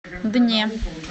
дне